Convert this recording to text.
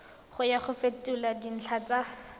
ya go fetola dintlha tsa